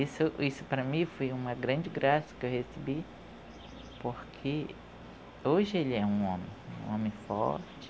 Isso isso para mim foi uma grande graça que eu recebi, porque hoje ele é um homem, um homem forte.